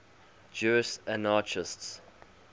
jewish anarchists